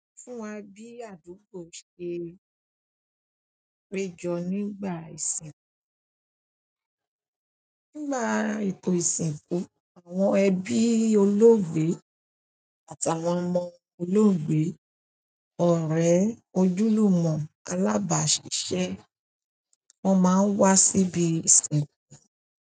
Fún wa bí àdúgbò ṣe péjọ nígbà ìsìnkú. Nígbà ètò ìsìnkú àwọn ẹbí olóògbé àtàwọn ọmọ olóògbé, ọ̀rẹ́, ojúlùmọ̀, alábàásisẹ́ wọ́n máa ń wa síbi ìsìnkú.